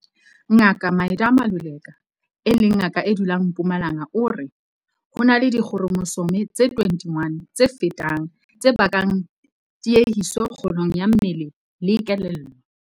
Ngaka Midah Maluleka, e leng ngaka e dulang Mpumalanga o re- Ho na le dikhromosome tse 21 tse fetang tse bakang tiehiso kgolong ya mmele le kelello.